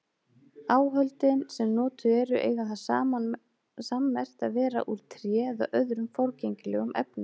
Áhöldin sem notuð eru eiga það sammerkt að vera úr tré eða öðrum forgengilegum efnum.